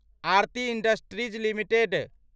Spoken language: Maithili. Aarti industries limited